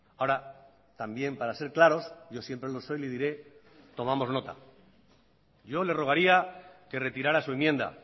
ahora también para ser claros yo siempre lo soy le diré tomamos nota yo le rogaría que retirara su enmienda